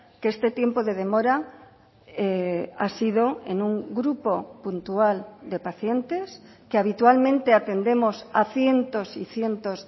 que este tiempo de demora ha sido en un grupo puntual de pacientes que habitualmente atendemos a cientos y cientos